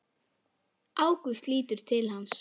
Ágúst lítur til hans.